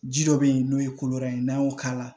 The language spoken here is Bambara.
Ji dɔ be yen n'o ye ko wɛrɛ ye n'an y'o k'a la